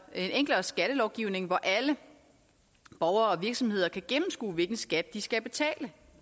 enklere skattelovgivning hvor alle borgere og virksomheder kan gennemskue hvilken skat de skal betale